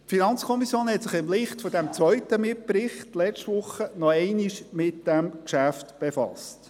Die FiKo hat sich im Licht dieses zweiten Mitberichts letzte Woche noch einmal mit diesem Geschäft befasst.